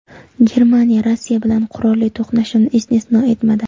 Germaniya Rossiya bilan qurolli to‘qnashuvni istisno etmadi.